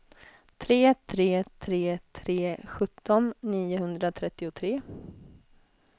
tre tre tre tre sjutton niohundratrettiotre